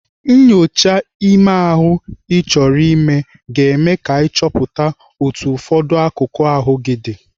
Nnyocha ime ahụ Ị chọrọ ime ka eme ka achọpụta otu ụfọdụ akụkụ ahụ gị dị.